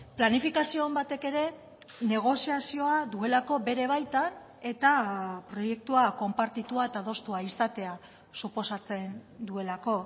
planifikazio on batek ere negoziazioa duelako bere baitan eta proiektua konpartitua eta adostua izatea suposatzen duelako